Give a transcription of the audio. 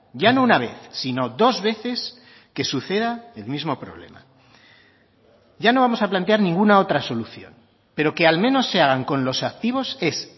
ya no una vez sino dos veces que suceda el mismo problema ya no vamos a plantear ninguna otra solución pero que al menos se hagan con los activos es